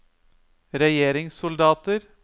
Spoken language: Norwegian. regjeringssoldater